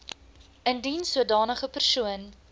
indien sodanige persoon